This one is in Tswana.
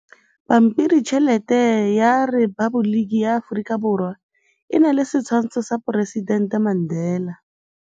Pampiritšheletê ya Repaboliki ya Aforika Borwa e na le setshwantshô sa poresitentê Mandela.